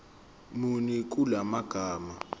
muni kula magama